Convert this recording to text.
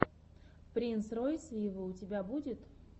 принс ройс виво у тебя будет